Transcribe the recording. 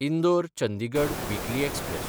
इंदोर–चंदिगड weekly express